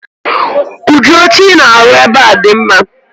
udi oche I na-arụ̣ ebe a di mma